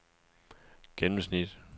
gennemsnit